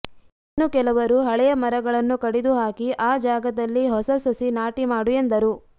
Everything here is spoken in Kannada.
ಇನ್ನು ಕೆಲವರು ಹಳೆಯ ಮರಗಳನ್ನು ಕಡಿದು ಹಾಕಿ ಆ ಜಾಗದಲ್ಲಿ ಹೊಸ ಸಸಿ ನಾಟಿ ಮಾಡು ಎಂದರು